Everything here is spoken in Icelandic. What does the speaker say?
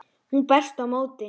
Hún berst á móti.